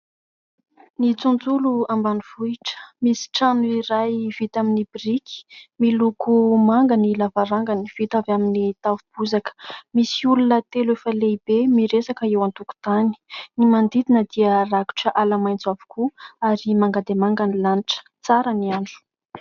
Ny tontolo ambanivohitra. Misy trano iray vita amin'ny biriky, miloko manga ny lavarangany, vita avy amin'ny tafo bozaka. Misy olona telo efa lehibe miresaka eo an-tokon-tany ny manodidina dia rakotra ala-maintso avokoa ary manga dia manga ny lanitra. Tsara ny andro.